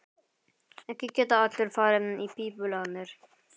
Ekki geta allir farið í pípulagnir.